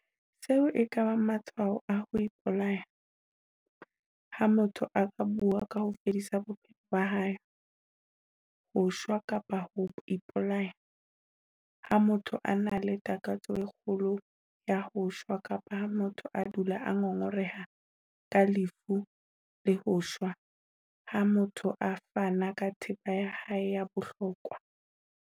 Seo e ka bang matshwao a ho ipolaya - Ha motho a bua ka ho fedisa bophelo ba hae, ho shwa kapa ho ipolaya. Ha motho a na le takatso e kgolo ya ho shwa kapa ha motho a dula a ngongoreha ka lefu le ho shwa. Ha motho a fana ka thepa ya hae ya bohlokwa.